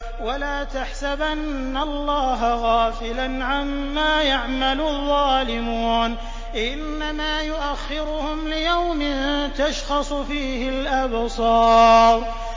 وَلَا تَحْسَبَنَّ اللَّهَ غَافِلًا عَمَّا يَعْمَلُ الظَّالِمُونَ ۚ إِنَّمَا يُؤَخِّرُهُمْ لِيَوْمٍ تَشْخَصُ فِيهِ الْأَبْصَارُ